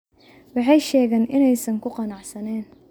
Waxay sheegeen inaysan ku qanacsanayn.